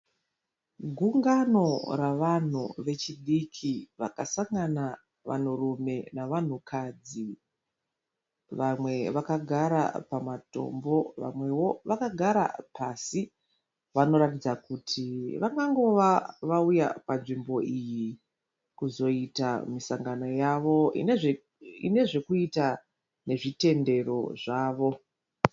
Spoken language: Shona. Gungano ravanhu vechidiki vakasangana vanhurume navanhukadzi. Vamwe vakagara pamatombo vamwewo vakagara pasi. Vanoratidza kuti vangangova vauya panzvimbo iyi kuzoita misangano yavo ine zvekuita nezvechitendero zvavo.